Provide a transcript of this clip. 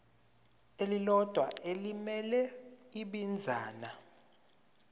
elilodwa elimele ibinzana